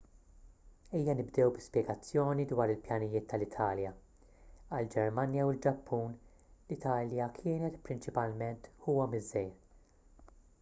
ejja nibdew bi spjegazzjoni dwar il-pjanijiet tal-italja għall-ġermanja u l-ġappun l-italja kienet prinċipalment ħuhom iż-żgħir